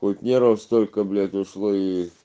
тут нервов столько блять ушло и